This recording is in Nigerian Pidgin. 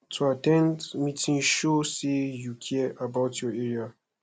to at ten d meeting show say you care about your area